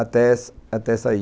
até sair.